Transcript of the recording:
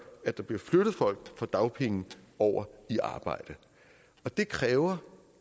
at der bliver flyttet folk fra dagpenge over i arbejde det kræver